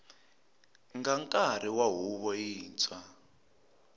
nga nkarhi wa huvo yintshwa